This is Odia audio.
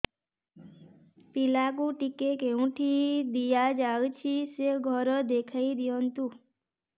ପିଲାକୁ ଟିକା କେଉଁଠି ଦିଆଯାଉଛି ସେ ଘର ଦେଖାଇ ଦିଅନ୍ତୁ